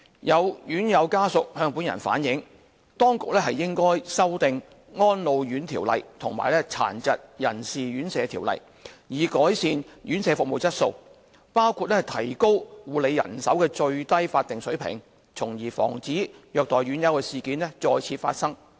有院友家屬向本人反映，當局應修訂《安老院條例》和《殘疾人士院舍條例》，以改善院舍服務質素，包括提高護理人手的最低法定水平，從而防止虐待院友事件再次發生。